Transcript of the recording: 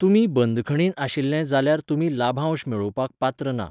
तुमी बंदखणींत आशिल्ले जाल्यार, तुमी लाभांश मेळोवपाक पात्र ना.